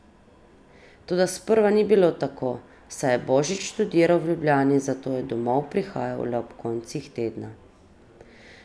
Toda sprva ni bilo tako, saj je Božič študiral v Ljubljani, zato je domov prihajal le ob koncih tedna.